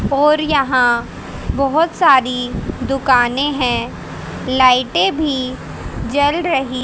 और यहां बहोत सारी दुकानें हैं लाइटें भी जल रही--